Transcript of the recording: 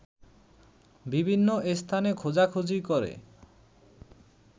বিভিন্ন স্থানে খোঁজাখুজি করে